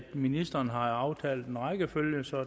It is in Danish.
ministrene har aftalt en rækkefølge så